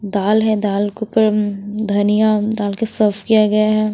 दाल है दाल के ऊपर धनिया डाल के सर्व किया गया है।